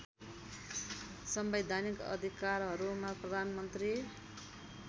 संवैधानिक अधिकारहरूमा प्रधानमन्त्री